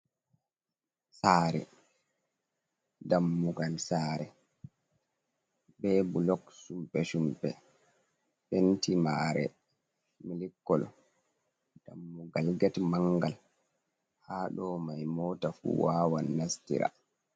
Saare, dammugal saare be bulok sumpe-sumpe, penti maare milik kolo, dammugal get manngal haa do may, moota fuu waawan nastira.